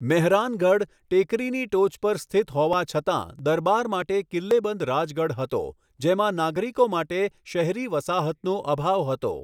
મેહરાનગઢ, ટેકરીની ટોચ પર સ્થિત હોવા છતાં, દરબાર માટે કિલ્લેબંધ રાજગઢ હતો જેમાં નાગરિકો માટે શહેરી વસાહતનો અભાવ હતો.